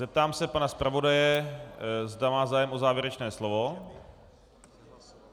Zeptám se pana zpravodaje, zda má zájem o závěrečné slovo.